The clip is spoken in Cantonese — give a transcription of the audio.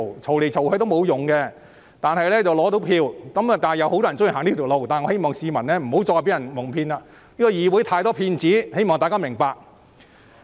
這不能解決問題，但能爭取選票，有很多人喜歡這樣做，我希望市民不要繼續被蒙騙，議會有太多騙子，我希望大家明白。